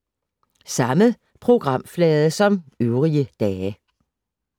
Samme programflade som øvrige dage